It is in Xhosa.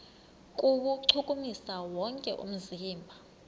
kuwuchukumisa wonke umzimba